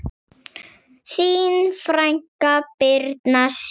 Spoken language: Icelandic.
Þín frænka, Birna Sif.